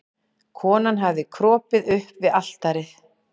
Konan hafði kropið upp við altarið.